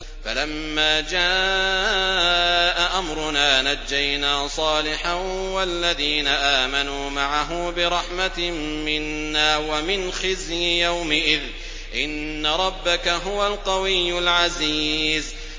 فَلَمَّا جَاءَ أَمْرُنَا نَجَّيْنَا صَالِحًا وَالَّذِينَ آمَنُوا مَعَهُ بِرَحْمَةٍ مِّنَّا وَمِنْ خِزْيِ يَوْمِئِذٍ ۗ إِنَّ رَبَّكَ هُوَ الْقَوِيُّ الْعَزِيزُ